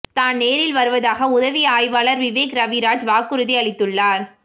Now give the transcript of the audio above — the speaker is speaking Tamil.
தான் நேரில் வருவதாக உதவி ஆய்வாளர் விவேக் ரவிராஜ் வாக்குறுதி அளித்துள்ளார்